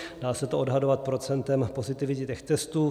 Dá se to odhadovat procentem pozitivity těch testů.